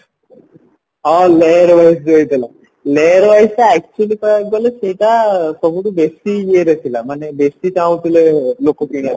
ଆଉ layer wise ଦିଆଯାଇଥିଲା layer wise actually କହିବାକୁ ଗଲେ ସେଇଟା ସବୁଠୁ ବେଶି ଇଏରେ ଥିଲା ମାନେ ବେଶି ଚାହୁଁଥିଲେ ଲୋକ କିଣିବା ପାଇଁ